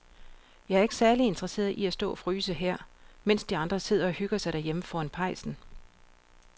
Jeg er ikke særlig interesseret i at stå og fryse her, mens de andre sidder og hygger sig derhjemme foran pejsen.